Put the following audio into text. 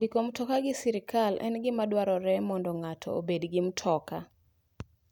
Ndiko mtoka gi sirkal en gima dwarore mondo ngato obed gi mtoka.